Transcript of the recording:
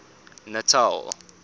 natal